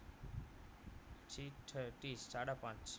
six thirty સાડા પાંચ